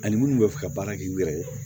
Ani minnu bɛ fɛ ka baara kɛ n yɛrɛ ye